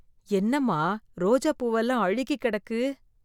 என்னம்மா ரோஜா பூவெல்லாம் அழுகி கிடக்கு.